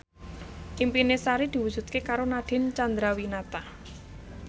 impine Sari diwujudke karo Nadine Chandrawinata